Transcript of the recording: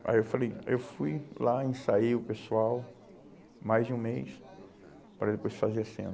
Aí eu falei, eu fui lá, ensaiei o pessoal mais de um mês para depois fazer a cena.